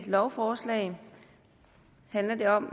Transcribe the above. lovforslag handler det om